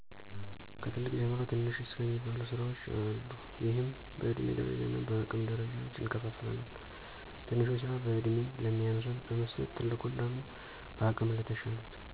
ከትልቅ ጀምሮ ትንሽ እስከሚባሉ ስራዎች አሉ ይህም በእድሜ ደረጃ እና በአቅም ደረጃዎች እንከፋፈላለን። ትንሹን ስራ በእድሜ ለሚያንሱት በመስጠት ትልቁን ደግሞ በአቅም ለተሻሉት።